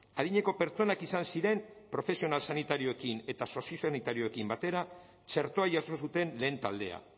adineko pertsonak izan ziren profesional sanitarioekin eta soziosanitarioekin batera txertoa jaso zuten lehen taldea